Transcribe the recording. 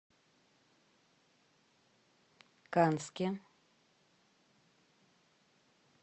канске